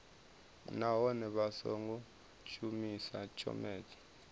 nahone vha songo shumisa tshomedzo